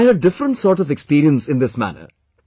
So I had a different sort of experience in this manner